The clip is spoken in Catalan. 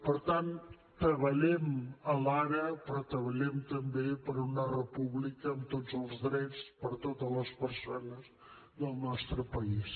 per tant treballem l’ara però treballem també per una república amb tots els drets per a totes les persones del nostre país